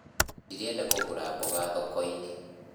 Ndĩrenda kũgũra mboga thoko-inĩ